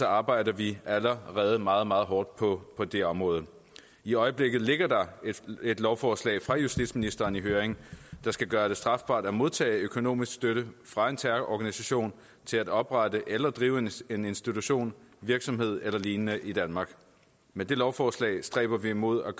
arbejder vi allerede meget meget hårdt på på det område i øjeblikket ligger der et lovforslag fra justitsministeren i høring der skal gøre det strafbart at modtage økonomisk støtte fra en terrororganisation til at oprette eller drive en en institution virksomhed eller lignende i danmark med det lovforslag stræber vi mod at